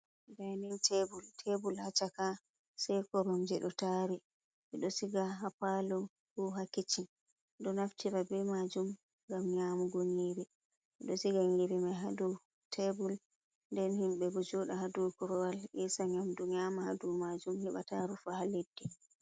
Dainin tebul, tebul ha chaka; sai korom je d'o tari ; 'bed'o siga hapaalo ko ha kiccin; d'o naftira bei majum gam nyamugo nyeri 'bed'o siga nyeri mai ha dou tebul den himbe d'o juda ha dou kurwal esa nyamdu nyama ha dou majum he'ba taa rufa ha leddi.